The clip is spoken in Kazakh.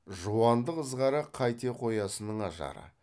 жуандық ызғары қайте қоясынның ажары